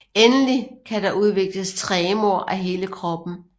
Endelig kan der udvikles tremor af hele kroppen